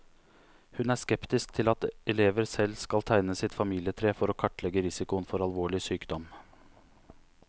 Hun er skeptisk til at elever selv skal tegne sitt familietre, for å kartlegge risikoen for alvorlig sykdom.